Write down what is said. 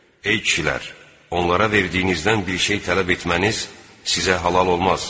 Ey kişilər, onlara verdiyinizdən bir şey tələb etməniz sizə halal olmaz.